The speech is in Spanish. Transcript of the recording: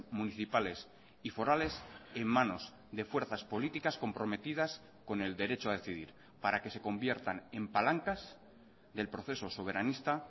municipales y forales en manos de fuerzas políticas comprometidas con el derecho a decidir para que se conviertan en palancas del proceso soberanista